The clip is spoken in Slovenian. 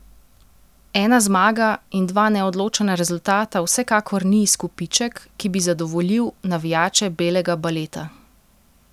Ena zmaga in dva neodločena rezultata vsekakor ni izkupiček, ki bi zadovoljil navijače belega baleta.